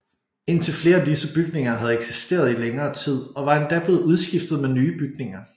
Indtil flere af disse bygninger havde eksisteret i længere tid og var endda blevet udskiftet med nye bygninger